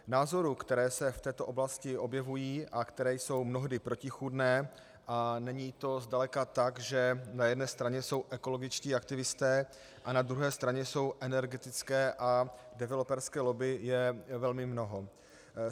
Názorů, které se v této oblasti objevují a které jsou mnohdy protichůdné, a není to zdaleka tak, že na jedné straně jsou ekologičtí aktivisté a na druhé straně jsou energetické a developerské lobby, je velmi mnoho.